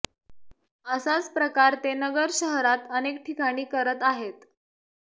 असाच प्रकार ते नगर शहरात अनेक ठिकाणी करत आहेत